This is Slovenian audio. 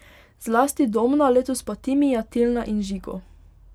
Zlasti Domna, letos pa Timija, Tilna in Žigo.